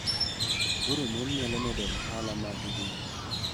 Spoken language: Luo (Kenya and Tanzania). Koro mon nyalo medo ohala maggi .